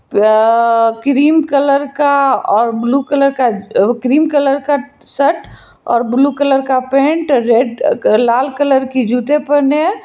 Cream colour का और blue colour का क्रीम कलर का शर्ट और ब्लू कलर का पेंट रेड लाल कलर के जूते पहने है।